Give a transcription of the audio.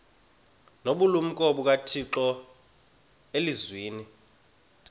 nobulumko bukathixo elizwini